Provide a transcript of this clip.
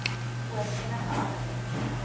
oor enige aspek